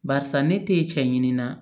Barisa ne te cɛ ɲini na